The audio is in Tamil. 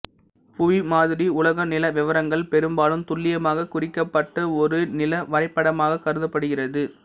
புவிமாதிரி உலக நில விவரங்கள் பெரும்பாலும் துல்லியமாக குறிக்கப்பட்ட ஒரு நில வரைபடமாக கருதப்படுகிறது